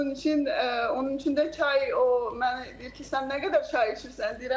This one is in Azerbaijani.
Onun üçün, onun üçün də çay o mənə deyir ki, sən nə qədər çay içirsən?